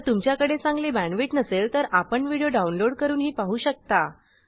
जर तुमच्याकडे चांगली बॅंडविड्त नसेल तर आपण व्हिडिओ डाउनलोड करूनही पाहू शकता